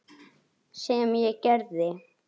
Sem ég gerði.